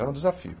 Era um desafio.